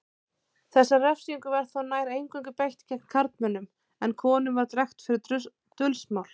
Þessari refsingu var þó nær eingöngu beitt gegn karlmönnum en konum var drekkt fyrir dulsmál.